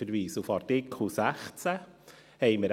Ich verweise auf den Artikel 16.